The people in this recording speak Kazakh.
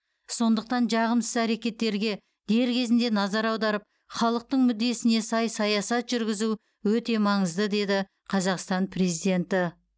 сондықтан жағымсыз әрекеттерге дер кезінде назар аударып халықтың мүддесіне сай саясат жүргізу өте маңызды деді қазақстан президенті